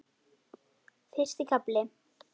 Fyrsti kafli